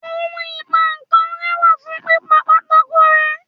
ohún ipá nkán re wa fún pipá pàtàkó rẹ